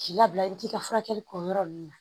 K'i labila i bi t'i ka furakɛli kɛ o yɔrɔ ninnu na